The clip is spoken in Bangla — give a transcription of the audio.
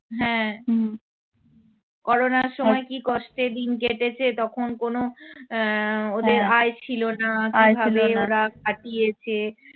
হম করোনার সময় কী কষ্টে দিন কেটেছে তখন কোনো আহ ওদের আয় ছিল না কিভাবে ওরা কাটিয়েছে